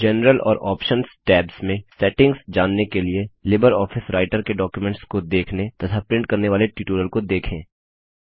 general और options tabs में settings जानने के लिए लिबरऑफिस रायटर के डॉक्युमेंट्स को देखने तथा प्रिंट करने वाले ट्यूटोरियल को देखें